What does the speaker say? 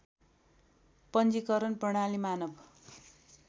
पञ्जिकरण प्रणाली मानव